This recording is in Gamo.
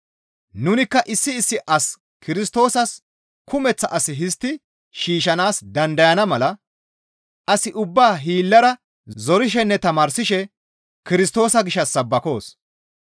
Nunikka issi issi as Kirstoosas kumeththa as histti shiishshanaas dandayana mala as ubbaa hiillara zorishenne tamaarsishe Kirstoosa gishshas sabbakoos.